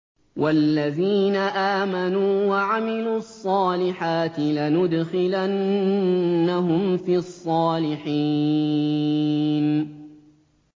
وَالَّذِينَ آمَنُوا وَعَمِلُوا الصَّالِحَاتِ لَنُدْخِلَنَّهُمْ فِي الصَّالِحِينَ